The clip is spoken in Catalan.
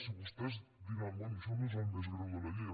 i vostès diran bé això no és el més greu de la llei